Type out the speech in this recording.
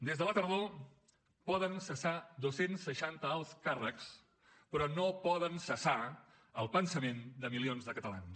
des de la tardor poden cessar dos cents i seixanta alts càrrecs però no poden cessar el pensament de milions de catalans